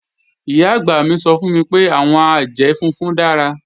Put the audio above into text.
Ìyá-àgbà mi sọ fún mi pé, àwọn àjẹ́ funfun dára